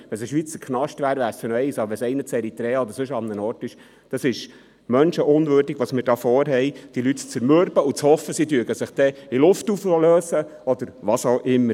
Ein Schweizer Knast wäre noch das eine, aber einer in Eritrea oder sonst wo ... Was wir hier vorhaben, ist menschenunwürdig, diese Leute zu zermürben und zu hoffen, sie lösten sich dann in Luft auf oder täten was auch immer.